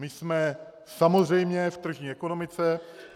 My jsme samozřejmě v tržní ekonomice.